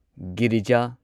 Girija